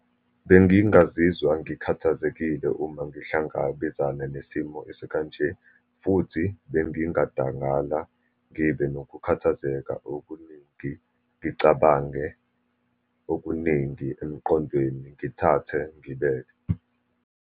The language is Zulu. Bengingazizwa ngikhathazekile uma ngihlangabezana nesimo esikanje, futhi bengingadangala ngibe nokukhathazeka okuningi, ngicabange okuningi emqondweni, ngithathe ngibeke.